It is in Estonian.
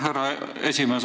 Härra esimees!